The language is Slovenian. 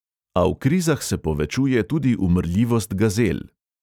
A v krizah se povečuje tudi umrljivost gazel.